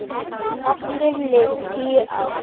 Aftur liðu tíu ár.